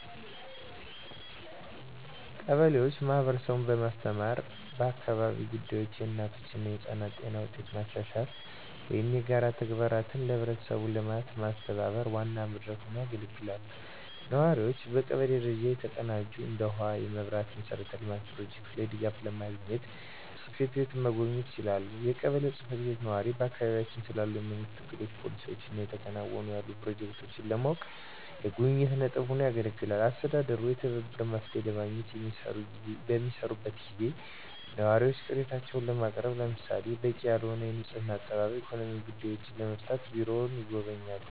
ቀበሌዎች ማህበረሰቡን በማስተባበር በአካባቢያዊ ጉዳዮች፣ የእናቶች እና ህጻናት ጤና ውጤቶች ማሻሻል ወይም የጋራ ተግባራትን ለህብረተሰቡ ልማት ማስተባበር ዋና መድረክ ሆነው ያገለግላሉ። ነዋሪዎቹ በቀበሌ ደረጃ የተቀናጁ እንደ ውሃ፣ የመብራት መሠረተ ልማት ፕሮጀክቶች ላይ ድጋፍ ለማግኘት ጽ/ቤቱን መጎብኘት ይችላሉ። የቀበሌው ጽ/ቤት ነዋሪዎች በአካባቢያቸው ስላሉ የመንግስት እቅዶች፣ ፖሊሲዎች እና እየተከናወኑ ያሉ ፕሮጀክቶችን ለማወቅ የጉብኝት ነጥብ ሆኖ ያገለግላል። አስተዳደሩ የትብብር መፍትሄዎችን ለማግኘት በሚሰራበት ጊዜ ነዋሪዎች ቅሬታዎችን ለማቅረብ ለምሳሌ - በቂ ያልሆነ የንፅህና አጠባበቅ፣ ኢኮኖሚያዊ ጉዳዮችን ለመፍታት ቢሮውን ይጎበኛሉ።